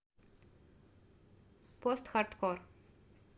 постхардкор